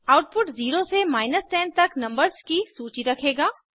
output 0 से 10 तक numbers की सूची रखेगा